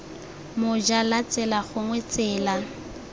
moja la tsela gongwe tsela